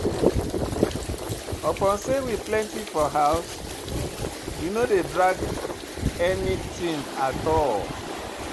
Upon sey we plenty for house, we no dey drag anytin at all.